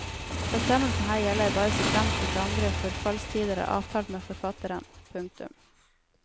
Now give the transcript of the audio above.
Bestemmelsene her gjelder bare såfremt ikke andre forfallstider er avtalt med forfatteren. punktum